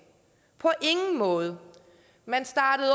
på ingen måde man startede